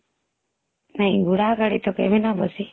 ଘୋଡା ଗାଡି ତ କେବେ ନ ବସି